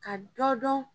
Ka dɔ dɔn